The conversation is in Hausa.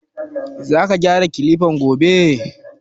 Za ka gyara Kilifan gobe?